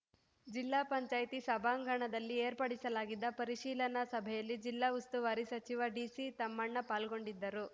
ಜಿಪಂ ಸಭಾಂಗಣದಲ್ಲಿ ಏರ್ಪಡಿಸಲಾಗಿದ್ದ ಪರಿಶೀಲನಾ ಸಭೆಯಲ್ಲಿ ಜಿಲ್ಲಾ ಉಸ್ತುವಾರಿ ಸಚಿವ ಡಿ ಸಿ ತಮ್ಮಣ್ಣ ಪಾಲ್ಗೊಂಡಿದ್ದರು